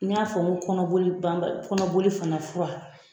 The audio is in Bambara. N y'a ko kɔnɔboli ban bali kɔnɔboli fana fura